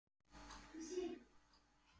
Er það ekki Fis?